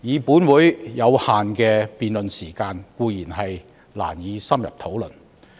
本會的辯論時間有限，自然難以深入討論。